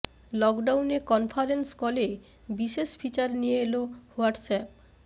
লকডাউনে কনফারেন্স কলে বিশেষ ফিচার নিয়ে এল হোয়াটস অ্যাপে